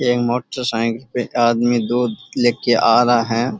ये motorcycle पे एक आदमी दूध लेके आ रहा है।